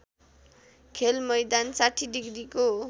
खेलमैदान ६० डिग्रीको